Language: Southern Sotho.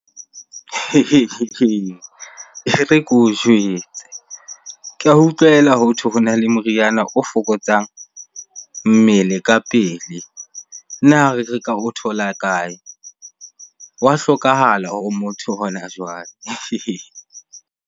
E re keo jwetse. Ka utlwela hothwe hona le moriana o fokotsang mmele ka pele. Na reka o thola kae? Wa hlokahala hore motho hona jwale.